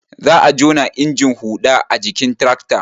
Za a jona injin huɗa a jikin tirakta